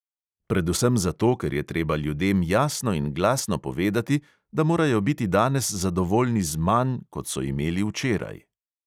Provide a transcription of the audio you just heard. Predvsem zato, ker je treba ljudem jasno in glasno povedati, da morajo biti danes zadovoljni z manj, kot so imeli včeraj.